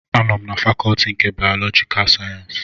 Anọ m na fakọtị nke bayọlọjika sayensịs